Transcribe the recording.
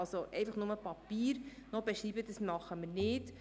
Einfach noch Papier zu beschreiben, das tun wir nicht.